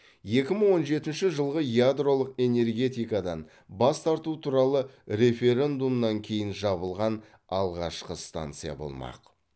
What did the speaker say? екі мың он жетінші жылғы ядролық энергетикадан бас тарту туралы референдумнан кейін жабылған алғашқы станция болмақ